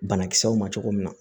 Banakisɛw ma cogo min na